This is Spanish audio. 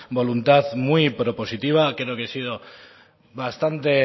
voluntad muy propositiva creo que he sido bastante